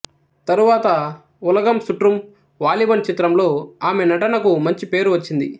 తరువాత ఉలగం సుట్రుం వాలిబన్ చిత్రంలో ఆమె నటనకు మంచి పేరు వచ్చింది